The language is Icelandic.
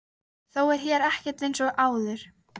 Þó er hér ekkert einsog áður.